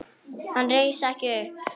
Hann reis ekki upp.